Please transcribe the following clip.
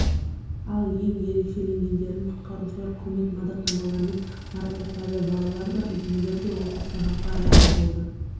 ал ең ерекшеленгендерін құтқарушылар құрмет мадақтамалармен марапаттады балалар да үлкендер де осы сабаққа разы болды